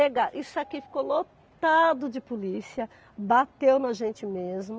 Isso aqui ficou lotado de polícia, bateu na gente mesmo.